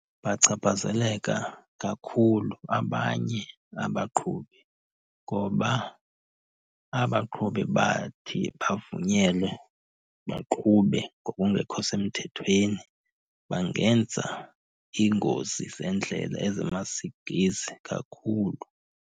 Bachaphazeleka kakhulu abanye abaqhubi ngoba abaqhubi bathi bavunyelwe baqhube ngokungekho semthethweni bangenza iingozi zeendlela ezimasikizi kakhulu.